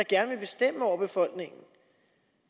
gerne vil bestemme over befolkningen